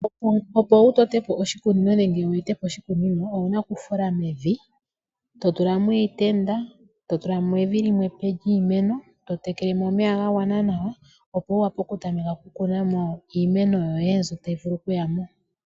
Opo wu tote po oshikunino nenge wu ete po oshikunino, owuna oku fula mevi, to tulamo iitenda, to tulamo evi limwe epe lyiimeno, to tekele mo omeya ga gwana nawa, opo wu vule oku tameka oku kuna mo iimeno yoye mbyoka tayi vulu oku yamo.